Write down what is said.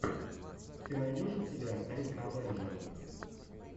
ты найдешь у себя рика авенджера